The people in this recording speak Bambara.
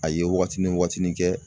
A ye wagatini wagatinin kɛ